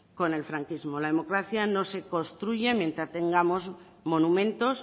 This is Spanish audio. con el franquismo la democracia no se construye mientras tengamos monumentos